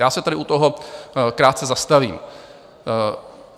Já se tady u toho krátce zastavím.